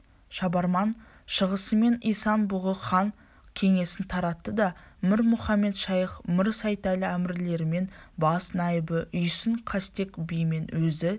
шабарман шығысымен исан-бұғы хан кеңесін таратты да мір мұхамед-шайх мір сейтәлі әмірлерімен бас найыбы үйсін қастек бимен өзі